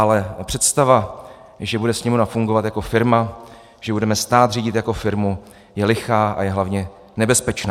Ale představa, že bude Sněmovna fungovat jako firma, že budeme stát řídit jako firmu, je lichá a je hlavně nebezpečná.